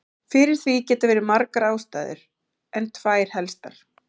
Fyrir því geta verið margar ástæður en tvær helstar.